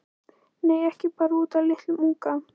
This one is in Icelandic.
Nei, ekki bara út af litlum unga.